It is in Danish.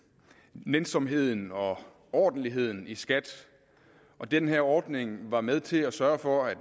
nænsomheden og ordentligheden i skat og den her ordning var med til at sørge for at